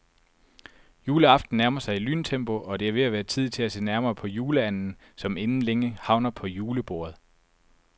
Juleaften nærmer sig i lyntempo, og det er ved at være tid til at se nærmere på juleanden, som inden længe havner på julebordet.